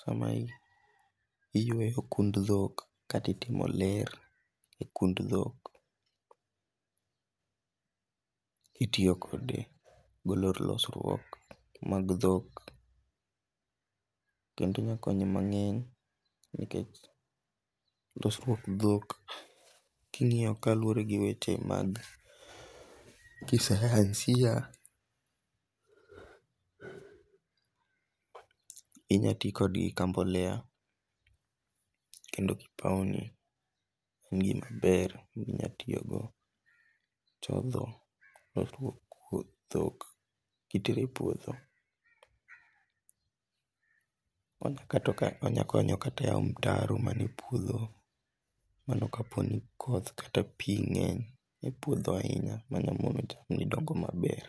samaiyweyo kund dhak kata itimo ler e kund thok itiyokode golo losruok mag dhok' kendo onya konyi mange'ny nikech losruok dhok kingi'yo kaluore gi weche mag kisayansiya inya ti kodgi ka mbolea kendo gi opuni en gimaber minyalo tiyogodo chotho losruok mag thok kitero e puotho, mago kaka onyakonyo kata e yao mtaro manie puotho mano ka po ni koth kata pi nge'ny e puotho ahinya manyalo mono chamgi dongo' maber.